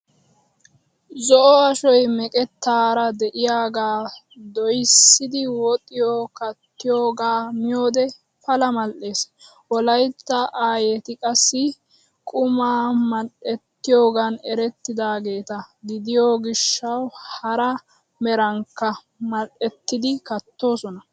Zo"o ashoy meeqettaara de"iyaagaa doyssidi woxiya kattoogaa miyoode pala mal"ees. Wolaytta aayeti qassi qumaa madhettiyoogan erettidaageeta gidiyoo gishshawu hara merankka madhdhettidi kattoosona.